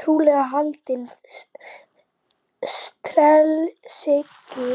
Trúlega haldinn stelsýki